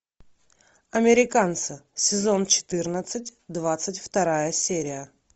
американцы сезон четырнадцать двадцать вторая серия